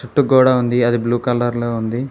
చుట్టూ గోడ ఉంది అది బ్లూ కలర్ లో ఉంది.